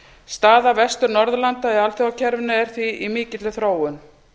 staða vestur norðurlanda í alþjóðakerfinu er því í mikilli þróun